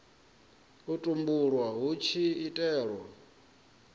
u tumbulwa hu tshi itelwa